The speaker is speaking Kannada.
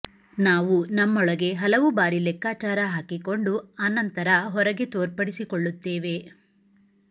ನಾವು ನಮ್ಮೊಳಗೆ ಹಲವು ಬಾರಿ ಲೆಕ್ಕಾಚಾರ ಹಾಕಿಕೊಂಡು ಅನಂತರ ಹೊರಗೆ ತೋರ್ಪಡಿಸಿಕೊಳ್ಳುತ್ತೇವೆ